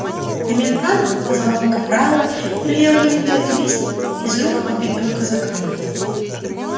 комендант подозвал капрала велел ему взять лист из рук убитого казака